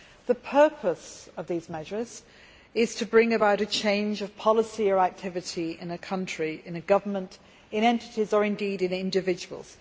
The purpose of these measures is to bring about a change of policy or activity in a country, in a government, in entities or indeed in individuals.